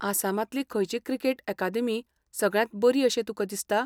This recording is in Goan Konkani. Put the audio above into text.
आसामांतली खंयची क्रिकेट अकादेमी सगळ्यांत बरी अशें तुका दिसता?